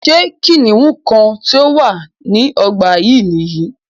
Ṣé kìnìún kan tí o wà ní ọgbà yín nìyí?